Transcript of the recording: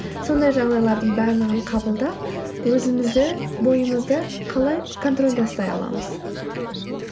сондай жағдайлардың барлығын қабылдап өзімізді бойымызды қалай контрольда ұстай аламыз